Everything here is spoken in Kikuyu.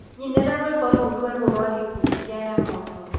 Nyinera rwĩmbo rũu rwerũ rwa gikundi kia Yamoto